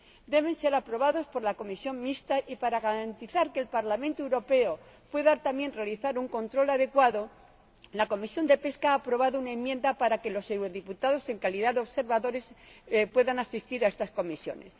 deben ser aprobados por la comisión mixta, y para garantizar que el Parlamento Europeo pueda, también, realizar un control adecuado, la Comisión de Pesca ha aprobado una enmienda para que los diputados al PE, en calidad de observadores, puedan asistir a estas comisiones